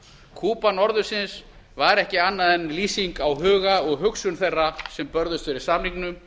kúba norðursins var ekki annað en lýsing á huga og hugsun þeirra sem börðust fyrir samningnum